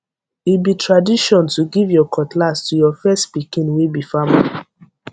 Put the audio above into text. e be tradition to give your cutlass to your first pikin wey be farmer